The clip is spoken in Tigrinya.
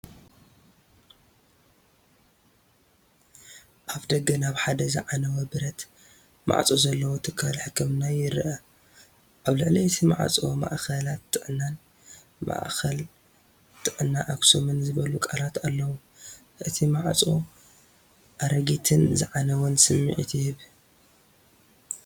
ኣፍደገ ናብ ሓደ ዝዓነወ ብረት ማዕጾ ዘለዎ ትካል ሕክምና ይርአ። ኣብ ልዕሊ እቲ ማዕጾ "ማእከላት ጥዕና"ን "ማእከል ጥዕና ኣክሱም"ን ዝብሉ ቃላት ኣለዉ። እቲ ማዕጾ ኣረጊትን ዝዓነወን ስምዒት ይህቦ።